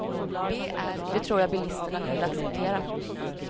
Det tror jag bilisterna kunde acceptera.